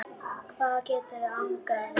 hvað getur angrað þig?